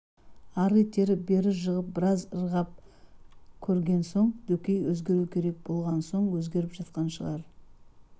ары итеріп бері жығып біраз ырғап көрген соң дөкей өзгеру керек болған соң өзгеріп жатқан шығар